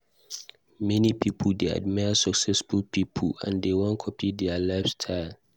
Many pipo dey admire successful pipo, and dem wan copy dia lifestyle.